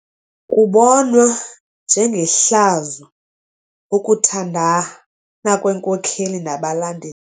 Kubonwa njengehlazo ukuthandana kweenkokeli nabalandeli.